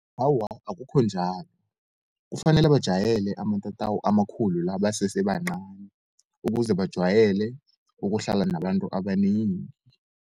Awa akukho njalo, kufanele bajayele amatatawu amakhulu la, basese bancani ukuze bajwayele ukuhlala nabantu abanengi.